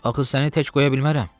Axı səni tək qoya bilmərəm.